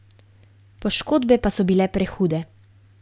Poškodbe pa so bile prehude.